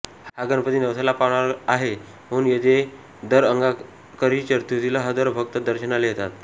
हा गणपती नवसाला पावणारा आहे म्हणून येथे दर अंगारकी चतुर्थीला हजारो भक्त दर्शनाला येतात